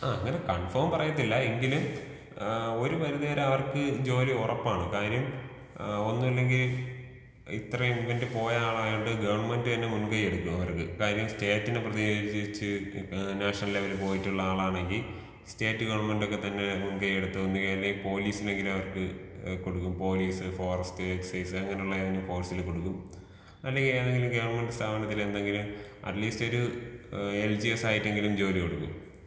ആ അങ്ങനെ കൺഫോം പറയത്തില്ല എങ്കിലും ആ ഒരു പരിധി വരെ അവർക്ക് ജോലി ഒറപ്പാണ് കാര്യം ആ ഒന്നുല്ലെങ്കി ഇത്രേം ഇവന്റ് പോയ ആളായോണ്ട് ഗവൺമെന്റ് തന്നെ മുൻകൈയെടുക്കും അവർക്ക് കാര്യം സ്റ്റേറ്റിനെ പ്രതിനിധീകരിച്ച് ഏ നാഷണൽ ലെവൽ പോയിട്ടുള്ള ആളാണെങ്കി സ്റ്റേറ്റ് ഗവൺമെന്റൊക്കെ തന്നെ മുൻകൈയെടുത്ത് അല്ലെങ്കില്‍ പോലീസില്‍ എങ്കിലും അവർക്ക് ഏ കൊടുക്കും പോലീസ് ഫോറസ്റ്റ് എക്സൈസ് അങ്ങനെയുള്ള ഏതെങ്കിലും ഫോഴ്സില് കൊടുക്കും അല്ലെങ്കി ഏതെങ്കിലും ഗവൺമെന്റ് സ്ഥാപനത്തിലെന്തെങ്കിലും അറ്റ്ലീസ്റ്റൊരു ആ എൽജിഎസ് ആയിട്ടെങ്കിലും ജോലി കൊടുക്കും.